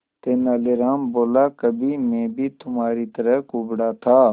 तेनालीराम बोला कभी मैं भी तुम्हारी तरह कुबड़ा था